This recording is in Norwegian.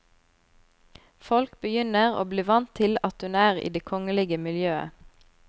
Folk begynner å bli vant til at hun er i det kongelige miljøet.